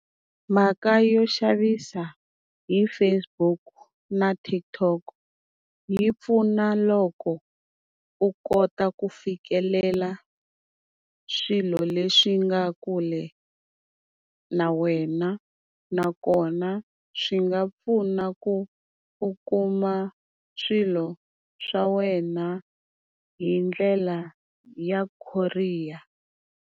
Mhaka yo xavisa hi Facebook na TikTok yi pfuna loko u kota ku fikelela swilo leswi nga kule na wena, nakona swi nga pfuna ku u kuma swilo swa wena hi ndlela ya courier.